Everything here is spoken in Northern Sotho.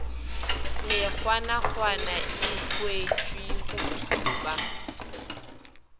mekgwanakgwana e hwetpwe go thupa